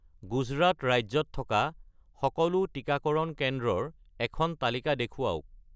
গুজৰাট ৰাজ্যত থকা সকলো টিকাকৰণ কেন্দ্ৰৰ এখন তালিকা দেখুৱাওক